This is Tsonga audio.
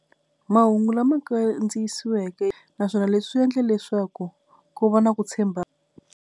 Mahungu lama kandziyisiweke naswona leswi swi endla leswaku ku va na ku .